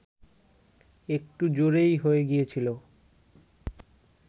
একটু জোরেই হয়ে গিয়েছিল